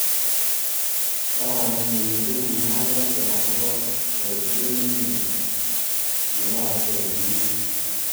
kararanitu mung'aresiek akobo boiset ne mie ne yooksei eng emet.